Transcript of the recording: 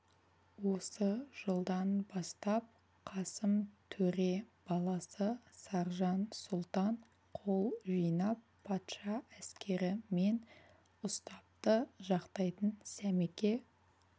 осы жылдан бастап қасым төре баласы саржан сұлтан қол жинап патша әскері мен ұстапты жақтайтын сәмеке